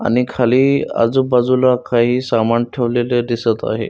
आणि खाली आजूबाजूला काही सामान ठेवलेले दिसत आहे.